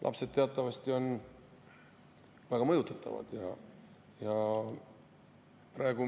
Lapsed on teatavasti väga mõjutatavad.